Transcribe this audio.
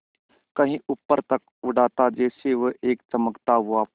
कहीं ऊपर तक उड़ाता जैसे वह एक चमकता हुआ पक्षी हो